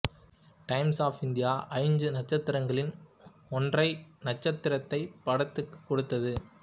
times of India ஐந்து நட்சத்திரங்களில் ஒன்றரை நட்சத்திரத்தை படத்திக்கு கொடுத்தது